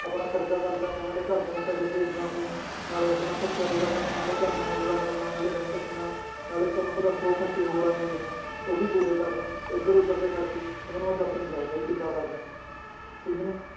ਆਪਣਾ ਖ਼ਰਚਾ ਕਰਦਾ ਪਿਆਂ ਨਾਲੇ ਘਰਦਿਆਂ ਨੂੰ ਪੈਸੇ ਭੇਜਦਾ ਪਿਆਂ ਨਾਲੇ ਆਪਣਾ ਖ਼ਰਚਾ ਪੂਰਾ ਕਰਨਾ ਨਾਲੇ ਘਰਦਿਆਂ ਦਾ ਪੂਰਾ ਕਰਨਾ ਨਾਲੇ rent ਦੇਣਾ ਨਾਲੇ ਤੁਹਾਨੂੰ ਪਤਾ ਸੌ ਖ਼ਰਚੇ ਹੋਰ ਆ ਜਾਂਦੇ ਹੈ ਉਹ ਵੀ ਪੂਰੇ ਕਰਨੇ ਇੱਧਰ ਉੱਧਰ ਦੇ ਖ਼ਰਚੇ ਮੈਂ ਤੁਹਾਨੂੰ ਦੱਸ ਨੀ ਸਕਦਾ ਜੀ ਕਿੱਦਾਂ ਕਰਦਾ ਹੈ ਠੀਕ ਨੀ।